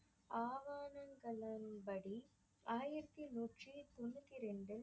ஆகாரங்களின்படி ஆயிரத்தி நூற்றி தொண்ணூத்திரெண்டு